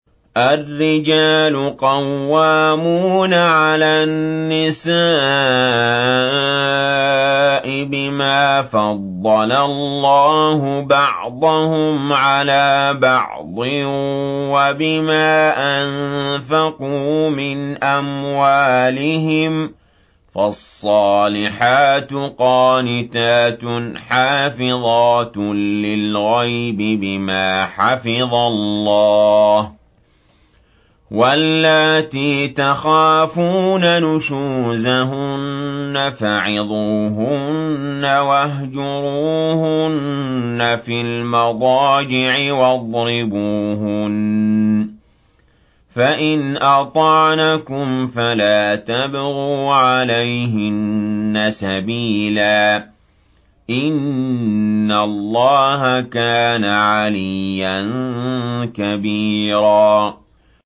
الرِّجَالُ قَوَّامُونَ عَلَى النِّسَاءِ بِمَا فَضَّلَ اللَّهُ بَعْضَهُمْ عَلَىٰ بَعْضٍ وَبِمَا أَنفَقُوا مِنْ أَمْوَالِهِمْ ۚ فَالصَّالِحَاتُ قَانِتَاتٌ حَافِظَاتٌ لِّلْغَيْبِ بِمَا حَفِظَ اللَّهُ ۚ وَاللَّاتِي تَخَافُونَ نُشُوزَهُنَّ فَعِظُوهُنَّ وَاهْجُرُوهُنَّ فِي الْمَضَاجِعِ وَاضْرِبُوهُنَّ ۖ فَإِنْ أَطَعْنَكُمْ فَلَا تَبْغُوا عَلَيْهِنَّ سَبِيلًا ۗ إِنَّ اللَّهَ كَانَ عَلِيًّا كَبِيرًا